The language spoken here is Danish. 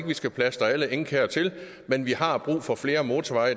vi skal plastre alle enge og kær til men vi har brug for flere motorveje